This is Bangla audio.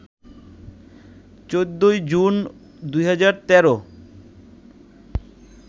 ১৪ জুন ২০১৩